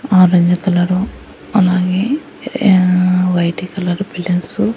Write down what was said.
orange colour అలాగే ఆ white colours balloons --